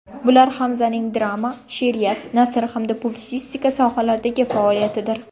Bular Hamzaning drama, she’riyat, nasr hamda publitsistika sohalaridagi faoliyatidir.